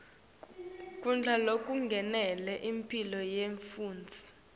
kudla lokulungele imphilo yemfundzi